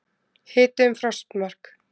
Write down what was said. Hiti um frostmark